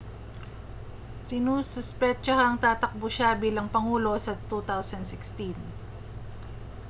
sinususpetyahang tatakbo siya bilang pangulo sa 2016